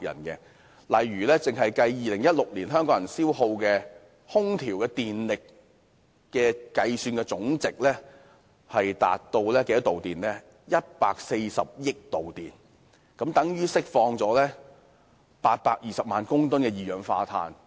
舉例而言 ，2016 年香港人消耗的空調電力總計高達140億度電，相等於釋放了820萬公噸二氧化碳。